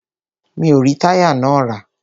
Mi o rí táyà náà rà.